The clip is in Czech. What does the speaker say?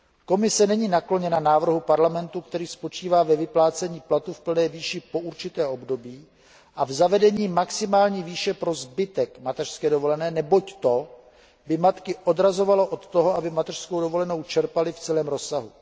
Komise není nakloněna návrhu Parlamentu, který spočívá ve vyplácení platu v plné výši po určité období a v zavedení maximální výše pro zbytek mateřské dovolené, neboť to by matky odrazovalo od toho, aby mateřskou dovolenou čerpaly v celém rozsahu.